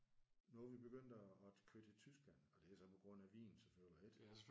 Nu er vi begyndt at at køre til Tyskland og det er så på grund af vin selvfølgelig ik?